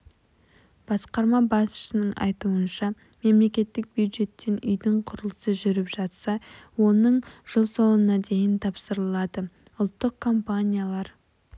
басқарма басшысының айтуынша мемлекеттік бюджеттен үйдің құрылысы жүріп жатса оның іжыл соңына дейін тапсырылады ұлттық компаниялар